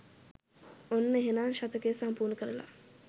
ඔන්න එහෙනම් ශතකය සම්පූර්ණ කරලා